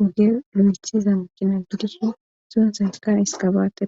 oge lo7ethiza makina guddishin suuntsaykka iskabaate